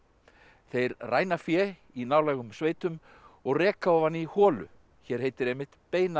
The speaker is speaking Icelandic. þeir ræna fé í nálægum sveitum og reka ofan í holu hér heitir einmitt